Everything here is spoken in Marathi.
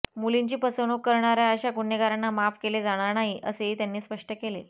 मुलींची फसवणूक करणाऱ्या अशा गुन्हेगारांना माफ केले जाणार नाही असेही त्यांनी स्पष्ट केले